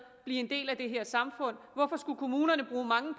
blive en del af det her samfund hvorfor skulle kommunerne bruge mange